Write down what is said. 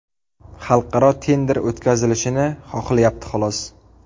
Xalqaro tender o‘tkazilishini xohlayapti xolos.